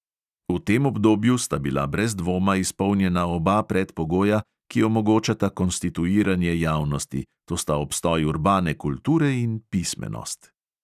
V tem obdobju sta bila brez dvoma izpolnjena oba predpogoja, ki omogočata konstituiranje javnosti; to sta obstoj urbane kulture in pismenost.